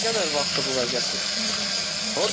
Nə qədər vaxtdır bu vəziyyətdir?